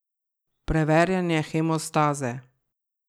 Preverjanje hemostaze.